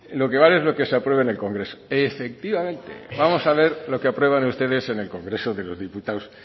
lo que vale es lo que se apruebe en el congreso efectivamente vamos a ver lo que aprueban ustedes en el congreso de los diputados